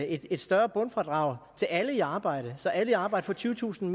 et større bundfradrag til alle i arbejde så alle i arbejde får tyvetusind